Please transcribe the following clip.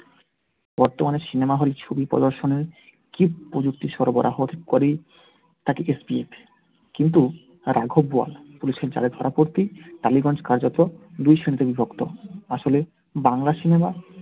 বর্তমানে cinema hall ছবি প্রদর্শনে প্রযুক্তির সরবরাহোর SBF কিন্তু রাঘব বোয়াল police এর জালে ধরা পড়তেই টালিগঞ্জ কার্যত দুই শ্রেণীতে বিভক্ত। আসলে বাংলা cinema